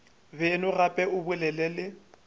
beno gape o bolele le